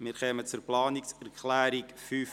Wir kommen zur Planungserklärung 5.c.